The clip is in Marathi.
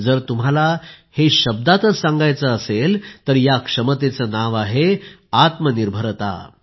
जर तुम्हाला हे शब्दांतच सांगायचे असेल तर या क्षमतेचे नाव आहे आत्मनिर्भरता